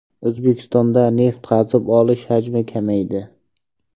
O‘zbekistonda neft qazib olish hajmi kamaydi.